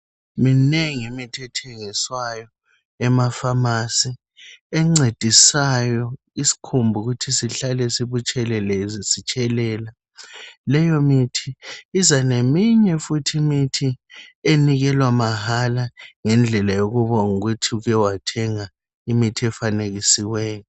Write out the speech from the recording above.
Minengi imithi ethengiswayo ema pharmacy encedisayo isikhumba ukuthi sihlale sibutshelelezi sitshelela. Leyo mithi iza neminye futhi imithi enikelwa mahala ngendlela yokubonga ukuthi uke wathenga imithi efanekisiweyo.